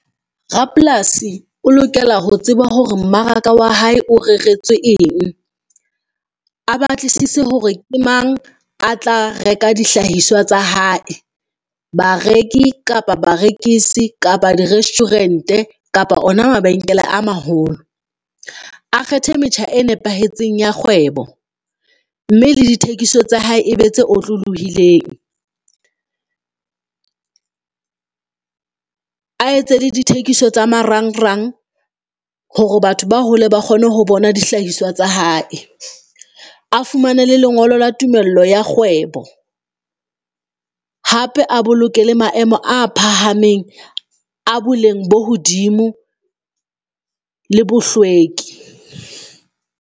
Rapolasi o lokela ho tseba hore mmaraka wa hae o reretswe eng, a batlisise hore ke mang a tla reka dihlahiswa tsa hae, bareki kapa barekisi kapa di-restaurant-e kapa ona mabenkele a maholo. A kgethe metjha e nepahetseng ya kgwebo, mme le dithekiso tsa hae e be tse otlolohileng, a etse la dithekiso tsa marangrang hore batho ba hole ba kgone ho bona dihlahiswa tsa hae. A fumane le lengolo la tumello ya kgwebo, hape a boloke le maemo a phahameng a boleng bo hodimo, le bohlweki.